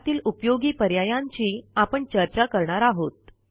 त्यातील उपयोगी पर्यायांची आपण चर्चा करणार आहोत